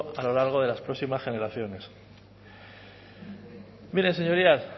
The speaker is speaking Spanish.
a lo largo de las próximas generaciones miren señorías